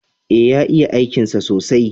E, ya iya aikinsa sosai.